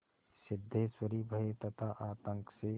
सिद्धेश्वरी भय तथा आतंक से